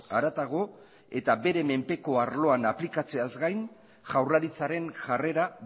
haratago eta bere menpeko arloan aplikatzeaz gain jaurlaritzaren jarrera